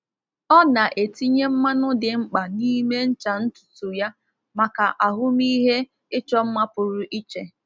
Ọ na-etinye mmanụ dị mkpa n’ime ncha ntutu ya maka ahụmịhe ịchọ mma pụrụ iche.